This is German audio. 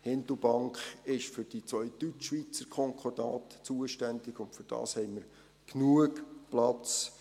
Hindelbank ist für die beiden Deutschschweizer Konkordate zuständig, und dafür haben wir genügend Platz.